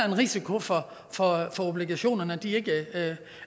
en risiko for for at obligationerne ikke